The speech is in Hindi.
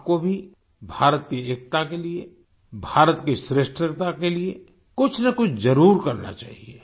आपको भी भारत की एकता के लिए भारत की श्रेष्ठता के लिए कुछनकुछ जरुर करना चाहिए